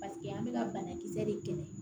Paseke an bɛ ka banakisɛ de kɛlɛ